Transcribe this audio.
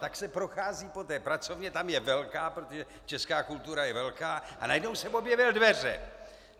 Tak se prochází po té pracovně, tam je velká, protože česká kultura je velká, a najednou jsem objevil dveře.